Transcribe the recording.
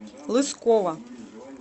лыскова